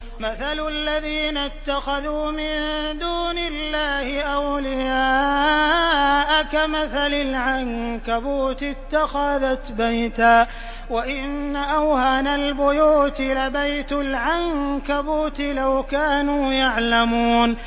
مَثَلُ الَّذِينَ اتَّخَذُوا مِن دُونِ اللَّهِ أَوْلِيَاءَ كَمَثَلِ الْعَنكَبُوتِ اتَّخَذَتْ بَيْتًا ۖ وَإِنَّ أَوْهَنَ الْبُيُوتِ لَبَيْتُ الْعَنكَبُوتِ ۖ لَوْ كَانُوا يَعْلَمُونَ